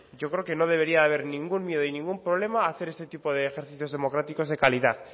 yo creo que no debería de haber ningún miedo y ningún problema a hacer este tipo de ejercicios democráticos de calidad